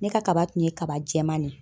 Ne ka kaba tun ye kaba jɛman de ye